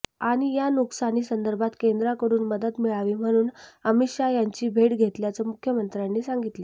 आणि या नुकसानी संदर्भात केंद्राकडून मदत मिळावी म्हणून अमित शाह यांची भेट घेतल्याचं मुख्यमंत्र्य़ांनी सांगितलं